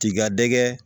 T'i ka dɛgɛ